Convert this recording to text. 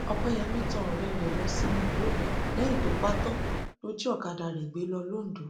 ọpẹyẹmí tan ọrẹ ẹ ẹ lọ sínú igbó lẹyìn tó pa á tán lọ jí ọkadà rẹ gbé lọ londo